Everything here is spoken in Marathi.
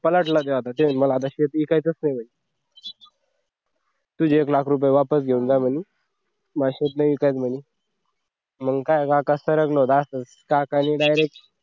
पाचाड ला मला आता ते शेत विकायचंच नाहीये तुझे एक लाख रुपये वापस घेऊन जा म्हणे मग असतेच नाही का म्हणे मग काय असं काकांनी direct